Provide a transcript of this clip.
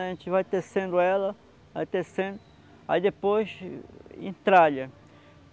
A gente vai tecendo ela, vai tecendo, aí depois entralha.